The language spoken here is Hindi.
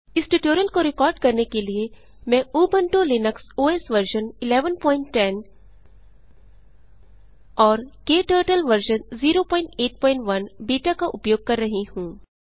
इस ट्यूटोरियल को रिकॉर्ड करने के लिए मैं उबंटु लिनक्स ओएस वर्ज़न 1110 और क्टर्टल वर्ज़न 081 बीटा का उपयोग कर रही हूँ